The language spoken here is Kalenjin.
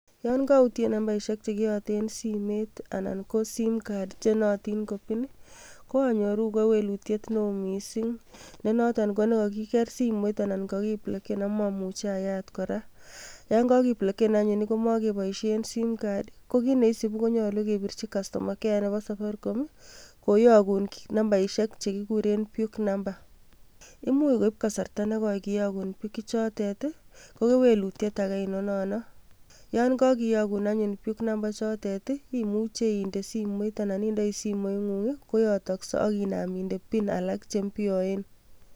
Yon koutien nambaisiek che kioten simoit anan ko simcard chenootin ko pin I,ko anyoru kewelutiet neo missing ,nenoto ko kagigeer simoit anan kakibloken ak momuche ayaat kora, yon kakibloken anyun komoboishie. simcard kokiit neisibuu konyolu kebirchii kastoma care neboo safaricom, koyokun nambaisiek chekikuren puk namba. Imuch koib kasarta nekooi kiyoguu. puk ichotet i,koyon kokiyoguun puk ichotet ichilchini simoit, ak inaam indee pik alak chelelach.